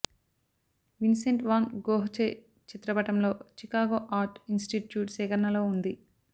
Vincent van Gogh చే చిత్రపటంలో Chicago Art Institute సేకరణలో ఉంది